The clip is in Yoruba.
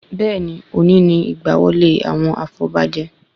Bẹ́ẹ̀ni, òní ni ìgbà wọlé àwọn afọbajẹ